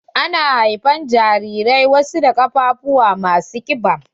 Ana haifan wasu jarirai da ƙafafuwa ma su kiɓa.